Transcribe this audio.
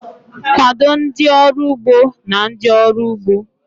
Kwado ndị ọrụ ugbo na ndị ọrụ ugbo..